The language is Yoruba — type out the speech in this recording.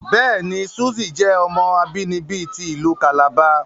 Bẹẹni, Suze jẹ ọmọ abinibi ti ilu Calabar